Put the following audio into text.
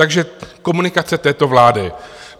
Takže komunikace této vlády.